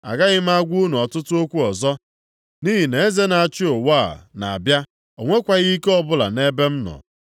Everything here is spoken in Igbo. Agaghị m agwa unu ọtụtụ okwu ọzọ nʼihi na eze na-achị ụwa a na-abịa. O nwekwaghị ike ọbụla nʼebe m nọ.